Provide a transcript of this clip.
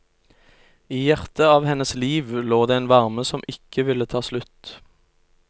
I hjertet av hennes liv lå det en varme som ikke ville ta slutt.